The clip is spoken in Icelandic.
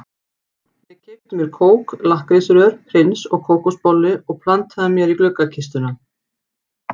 Ég keypti mér kók, lakkrísrör, prins og kókosbollu og plantaði mér í gluggakistuna.